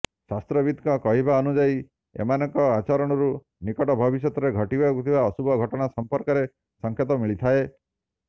ଶାସ୍ତ୍ରବିତ୍ଙ୍କ କହିବା ଅନୁଯାୟୀ ଏମାନଙ୍କ ଆଚରଣରୁ ନିକଟ ଭବିଷ୍ୟତରେ ଘଟିବାକୁ ଥିବା ଅଶୁଭ ଘଟଣା ସଂପର୍କରେ ସଙ୍କେତ ମିଳିଥାଏ